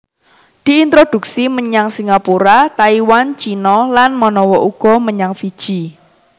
Diintroduksi menyang Singapura Taiwan Cina lan manawa uga menyang Fiji